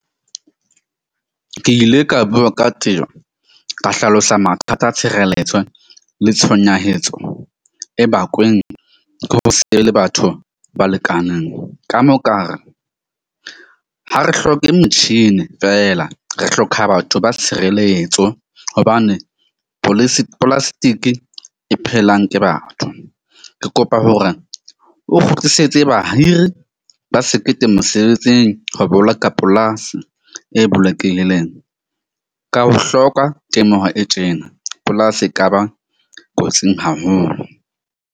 Ke ile ka bua ka ka hlalosa mathata a tshireletso le tshonyahetso e bakuweng ke ho se be le batho ba lekaneng. Ka mo ka re ha re hloke motjhini fela re hloka batho ba tshireletso. Hobane e phelang ke batho. Ke kopa hore o kgutlisetse bahiri ba sekete mosebetsing ho boloka polasi e bolokehileng, ka ho hloka temoho e tjena, polasi e kaba kotsing haholo.